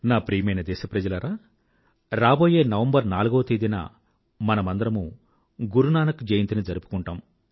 నా ప్రియమైన దేశ ప్రజలారా రాబోయే నవంబర్ నాలుగవ తేదీన మనందరమూ గురునానక్ జయంతిని జరుపుకుంటాము